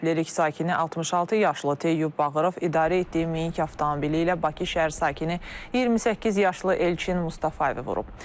Lerik sakini 66 yaşlı Teyyub Bağırov idarə etdiyi Minik avtomobili ilə Bakı şəhər sakini 28 yaşlı Elçin Mustafayevi vurub.